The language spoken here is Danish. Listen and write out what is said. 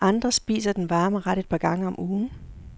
Andre spiser den varme ret et par gange om ugen.